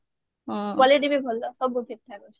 quality ବି ଭଲ ସବୁ ଠିକ ଠାକ ଅଛି